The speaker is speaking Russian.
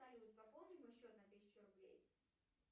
салют пополни мой счет на тысячу рублей